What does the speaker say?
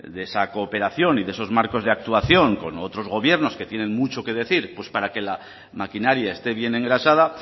de esa cooperación y de esos marcos de actuación con otros gobiernos que tienen mucho que decir pues para que la maquinaria esté bien engrasada